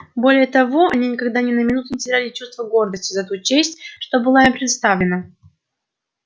более того они никогда ни на минуту не теряли чувства гордости за ту честь что была им предоставлена